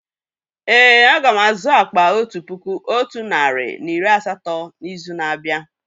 Èé, a ga m azụ akpà otu puku otu narị na iri asatọ n'izu na-abịa.